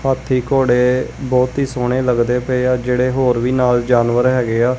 ਹਾਥੀ ਘੋੜੇ ਬਹੁਤ ਹੀ ਸੋਹਣੇ ਲੱਗਦੇ ਪਏ ਆ ਜਿਹੜੇ ਹੋਰ ਵੀ ਨਾਲ ਜਾਨਵਰ ਹੈਗੇ ਆ।